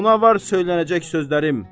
Ona var söylənəcək sözlərim.